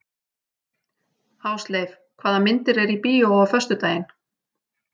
Ásleif, hvaða myndir eru í bíó á föstudaginn?